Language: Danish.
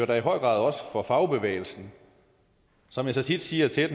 da i høj grad også for fagbevægelsen som jeg så tit siger til